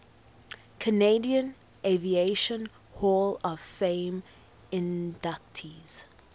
canadian aviation hall of fame inductees